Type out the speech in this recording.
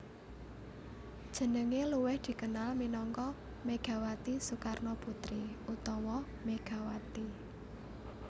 Jenengé luwih dikenal minangka Megawati Soekarnoputri utawa Megawati